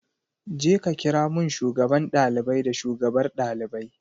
Jeka kira mun shugaban ɗalibai da shugabar ɗalibai.